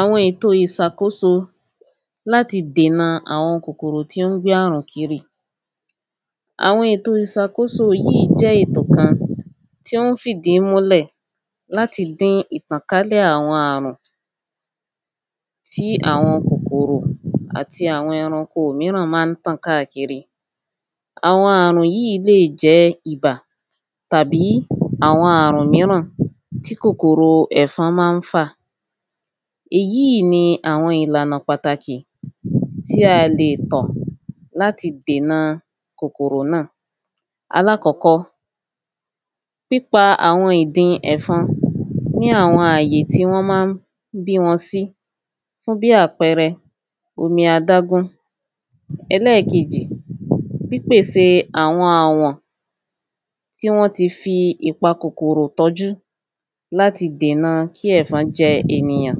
Àwọn èto ìsàkóso láti dèna àwọn kòkòrò tí ń gbé àrùn kiri. Àwọn èto ìsàkóso yìí jẹ́ ètò kan tí ó ń fìdí múlẹ̀ láti dín ìtànkálẹ̀ àwọn àrùn tí àwọn kòkòrò tàbí àwọn ẹranko míì má ń tàn kiri. Àwọn àrùn yìí lè jẹ́ ibà tàbí àwọn àrùn míràn tí kòkòrò ẹ̀fọn má ń fà. Èyí ni àwọn ìlànà pàtàkì tí a lè tọ̀ láti dènà kòkòrò náà. Aláàkọ́kọ́ pípa àwọn ìdin ẹ̀fọn ní àwọn àyè tí wọ́n má ń bí wọn sí fún bí àpẹrẹ omi adágún. Ẹlẹ́ẹ̀kejì pípèsè àwọn àwọ̀n tí wọ́n ti fi ìpa kòkòrò tọ́jú láti dèna kí ẹ̀fọn jẹ ènìyàn.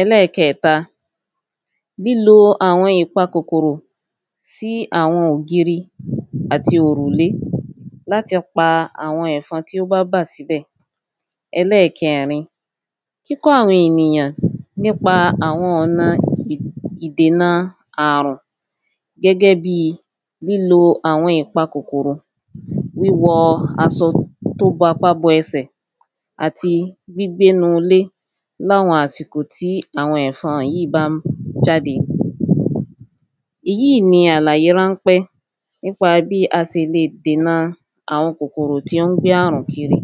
Ẹlẹ́ẹ̀kẹta lílo àwọn ìpa kòkòrò sí àwọn ògirí sí àwọn òrùlé láti pa àwọn ẹ̀fọn tí ó bá wà níbẹ̀. Ẹlẹ́ẹ̀kẹrin kíkọ́ àwọn ènìyàn nípa àwọn ọ̀nà ìdena àrùn gẹ́gẹ́ bí lílo àwọn ìpa kòkòrò wíwọ asọ tó bapa bẹsẹ̀ àti gbígbénú ilé láwọn àsìkò tí àwọn ẹ̀fọn yìí má ń jáde. Èyí ni àwọn àlàyé ránpẹ́ nípa bí a se le dèna àwọn kòkòrò tí ń gbé àrùn kiri.